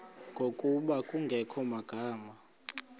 ngokuba kungekho magama